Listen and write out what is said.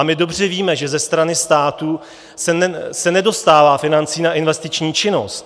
A my dobře víme, že ze strany státu se nedostává financí na investiční činnost.